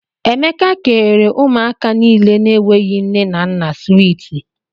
Emeka kèrè ụmụaka niile na -enweghi nne na nna swiiti.